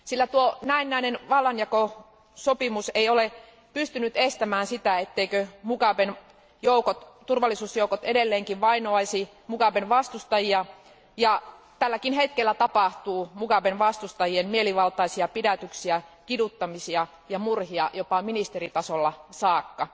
Tuo näennäinen vallanjakosopimus ei ole pystynyt estämään sitä, etteivätkö Mugaben turvallisuusjoukot edelleenkin vainoaisi Mugaben vastustajia, ja tälläkin hetkellä tapahtuu Mugaben vastustajien mielivaltaisia pidätyksiä, kiduttamisia ja murhia, jopa ministeritasolla saakka.